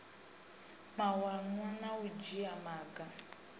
mawanwa na u dzhia maga